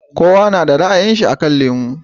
Kowa kada ra'ayin shi akan lemo